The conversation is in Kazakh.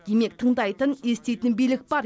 демек тыңдайтын еститін билік бар